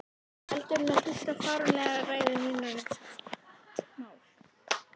Heldur en hlusta á fáránlegar ræður um mín mál.